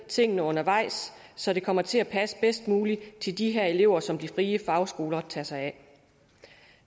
tingene undervejs så det kommer til at passe bedst muligt til de her elever som de frie fagskoler tager sig af